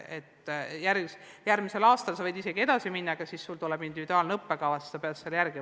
Järgmisel aastal võib ta isegi edasi minna, aga siis koostatakse individuaalne õppekava ja tuleb õppida selle järgi.